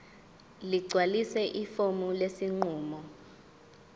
ligcwalise ifomu lesinqumo